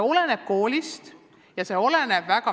Ent suhtumine oleneb koolist.